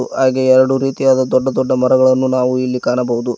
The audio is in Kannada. ಹಾಗೆ ಎರಡು ರೀತಿಯಾದ ದೊಡ್ಡ ದೊಡ್ಡ ಮರಗಳನ್ನು ನಾವು ಇಲ್ಲಿ ಕಾಣಬಹುದು.